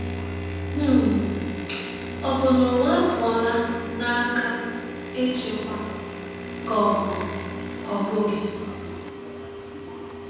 um Ọ bụ na ụwa apụọla n’aka ịchịkwa, ka ọ bụ ọ bụghị?